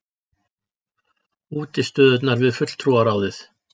Útistöðurnar við Fulltrúaráðið!